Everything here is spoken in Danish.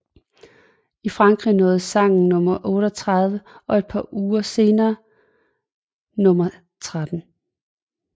I Frankrig nåede sangen nummer 38 og et par uger nåede senere nummer 13